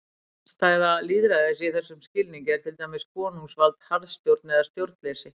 Andstæða lýðræðis í þessum skilningi er til dæmis konungsvald, harðstjórn eða stjórnleysi.